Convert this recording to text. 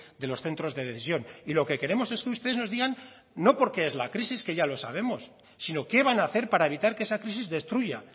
de los centros de decisión y lo que queremos es que ustedes nos digan no porque es la crisis que ya lo sabemos sino qué van a hacer para evitar que esa crisis destruya